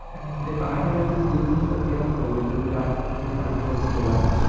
म्हणजे काही ना काहीतरी बिजनेस तरी केलाच पाहिजे. जास्त प्रॉफिट मार्जिनवरती केला पाहिजे.